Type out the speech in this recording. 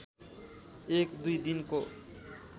एक दुई दिनको